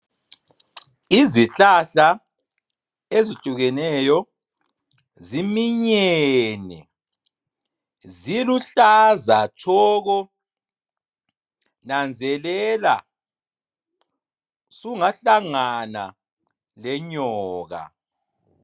Izihlahla ezihlukeneyo ziminyene ziluhlaza tshoko, nanzelela sungahlangana lenyoka.